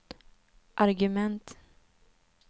argument